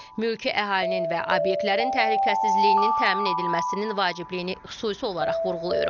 Mülki əhalinin və obyektlərin təhlükəsizliyinin təmin edilməsinin vacibliyini xüsusi olaraq vurğulayırıq.